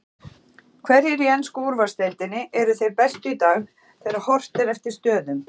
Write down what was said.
Hverjir í ensku úrvalsdeildinni eru þeir bestu í dag þegar horft er eftir stöðum?